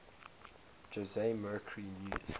jose mercury news